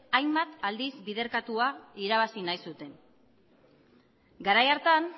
hainbat aldiz biderkatua irabazi nahi zuten garai hartan